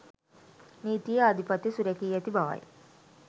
නීතියේ ආධිපත්‍යය සුරැකී ඇති බවයි.